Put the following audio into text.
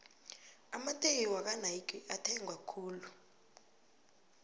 amateki wakwanayki ethengwa khulu